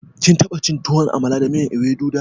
Kin taɓa Chin tuwon Amala da miyan Ewedu da?